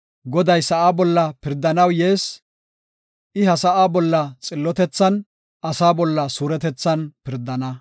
Goday sa7aa bolla pirdanaw yees; I ha sa7aa bolla xillotethan asaa bolla suuretethan pirdana.